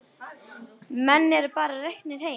Menn eru bara reknir heim.